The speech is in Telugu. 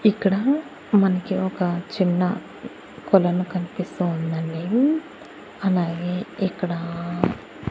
ఇక్కడ మనకి ఒక చిన్న కొలను కనిపిస్తూ ఉందండి అలాగే ఇక్కడా--